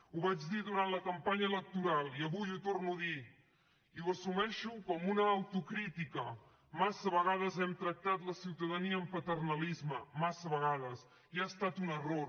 ho vaig dir durant la campanya electoral i avui ho torno a dir i ho assumeixo com a una autocrítica massa vegades hem tractat la ciutadania amb paternalisme massa vegades i ha estat un error